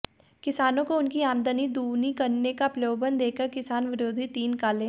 किसानो को उनकी आमदनी दूनी करने का प्रलोभन देकर किसान विरोधी तीन काले